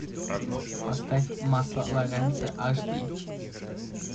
поставь масло лоренцо аш ди